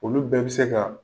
Olu bɛɛ bɛ se ka